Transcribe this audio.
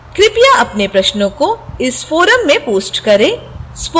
कृपया अपने प्रश्नों को इस forum में post करें